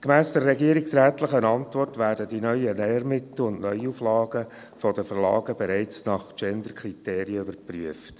– Gemäss der regierungsrätlichen Antwort werden die neuen Lehrmittel und Neuauflagen von den Verlagen bereits nach Genderkriterien überprüft.